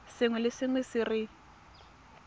sengwe le sengwe se re